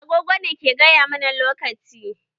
Agogo ne ke gaya mana lokaci.